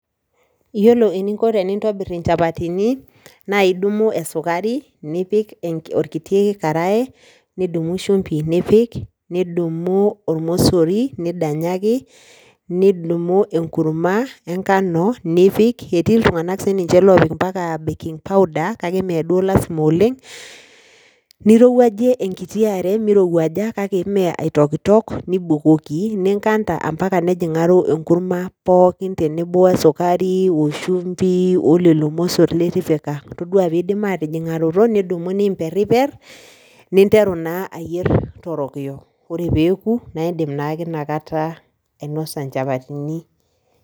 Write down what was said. Yiolo eninko pintobir inchapatini naa idumu esukari , nipik orkiti karae , nidumu shimbi nipik, nidumu ormosori nidanyaki , nidumu sininye enkurma enkano nipik, etii iltunganak lopik mpaka baking powder , kake mmee duo lasima oleng. Nirowuajie enkiti are kake mmee aitoktok nibukoki , ninkata ampaka nejingaro enkurma pookin tenebo wesukari , oshumbi , olelo mosor litipika . Toduoa pidip atijingaroto , nidumu nimperper , ninteru naa ayier torokiyo ore peeku naa indim naake inakata ainosa inchapatini.